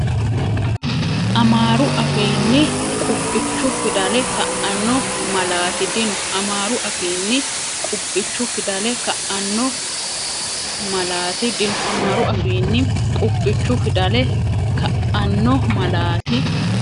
Amaaru afiinni qubbichu fidale ka’anno malaati dino Amaaru afiinni qubbichu fidale ka’anno malaati dino Amaaru afiinni qubbichu fidale ka’anno malaati.